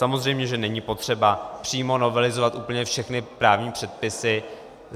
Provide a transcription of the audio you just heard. Samozřejmě, že není potřeba přímo novelizovat úplně všechny právní předpisy.